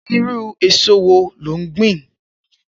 Irù ésó wó ló n gbin?